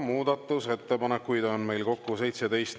Muudatusettepanekuid on kokku 17.